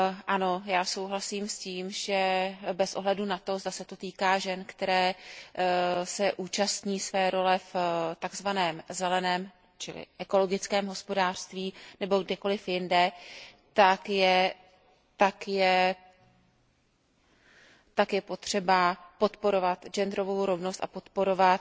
Ano, já souhlasím s tím, že bez ohledu na to, zda se to týká žen, které se účastní své role v takzvaném zeleném čili ekologickém hospodářství, nebo kdekoliv jinde, tak je potřeba podporovat genderovou rovnost a podporovat